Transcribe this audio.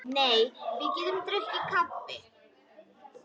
Nei, við getum drukkið kaffi.